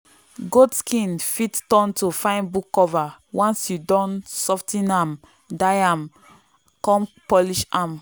goat skin fit turn to fine book cover once you don sof ten am dye am come polish am.